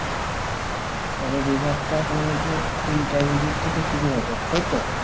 মানে বিভাগটা তোমার ওই যে intermediate থেকে শুরু হবে তাই তো